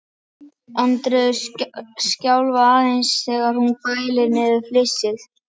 Andreu skjálfa aðeins þegar hún bælir niður flissið.